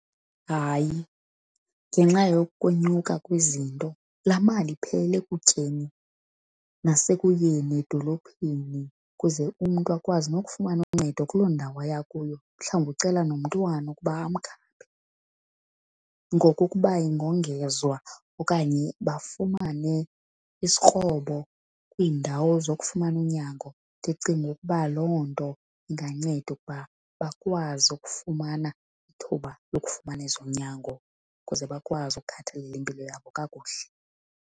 Hayi, ngenxa yokwenyuka kwezinto la mali iphelela ekutyeni nasekuyeni edolophini ukuze umntu akwazi nokufumana uncedo kuloo ndawo aya kuyo, mhlawumbi ucela nomntwana ukuba amkhaphe. Ngoko ukuba ingongezwa okanye bafumane isikrobo kwiindawo zokufumana unyango ndicinga ukuba loo nto inganceda ukuba bakwazi ukufumana ithuba lokufumana ezonyango ukuze bakwazi ukukhathalela impilo yabo kakuhle.